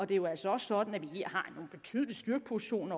det er jo altså også sådan at vi her har en betydelig styrkeposition